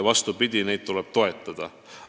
Vastupidi, neid tuleb toetada.